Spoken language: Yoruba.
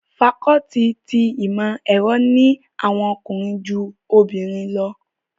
Fakọluti ti Imọ-ẹrọ ni awọn ọkunrin ju obinrin lọ